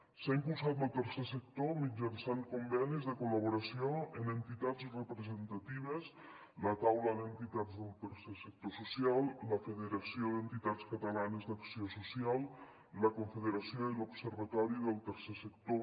s’ha impulsat lo tercer sector mitjançant convenis de col·laboració amb entitats representatives la taula d’entitats del tercer sector social la federació d’entitats catalanes d’acció social la confederació i l’observatori del tercer sector